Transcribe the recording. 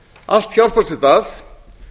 allt hjálpast þetta að